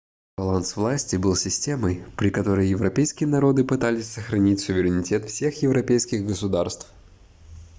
баланс власти был системой при которой европейские народы пытались сохранить суверенитет всех европейских государств